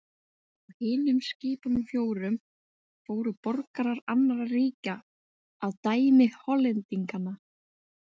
Á hinum skipunum fjórum fóru borgarar annarra ríkja að dæmi Hollendinganna.